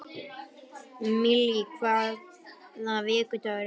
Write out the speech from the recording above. Millý, hvaða vikudagur er í dag?